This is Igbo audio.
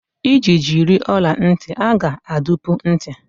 Iji jiri ọla ntị, a ga-adụpu ntị.